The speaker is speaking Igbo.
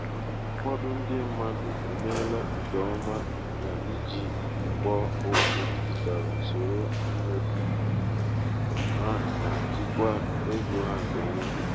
ụfọdụ ndi mmadụ emeela nke ọma n’iji ikpo okwu dijitalụ soro mmefu ha na jikwaa ego ha nke ọma.